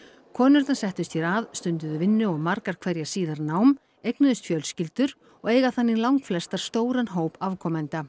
konurnar settust hér að stunduðu vinnu og margar hverjar síðar nám eignuðust fjölskyldur og eiga þannig langflestar stóran hóp afkomenda